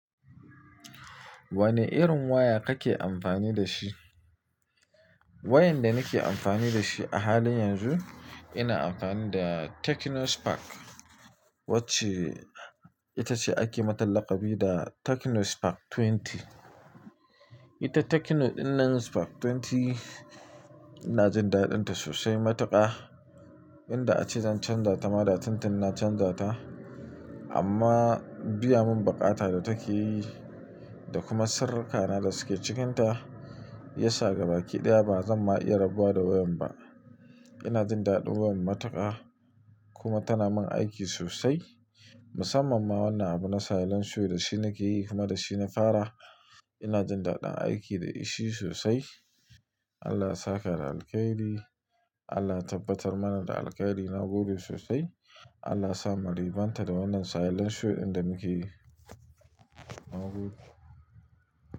Wani irin waya kake amfani da shi? Wayan da nake amfani da shi a halin yanzu, ina amfani da Techno Spark wacce ita ce ake mata laƙabi da Techno Spark 20. Ita Techno dinnan Spark 20 ina jin daɗinta sosai matuƙa. Inda ace zan canza ta ma, da tuntun na canza ta. Amma biya mun baƙata da take yi da kuma sirrikana da suke cikinta, ya sa gaba ɗaya ba zan ma iya rabuwa da wayan ba. Ina jin daɗin wayan matuƙa kuma tana mun aiki sosai. Musamman ma wannan abu na silent show da shi nake yi kuma da shi na fara. Ina jin daɗin aiki da shi sosai. Allah ya saka da alkhairi. Allah ya tabbatar mana da alkhairi. Na gode sosai. Allah ya sa maribanta da wannan silent show inda muke yi. Na gode.